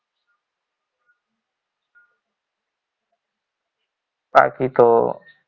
બાકી તો